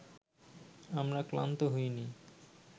আমরা ক্লান্ত হইনি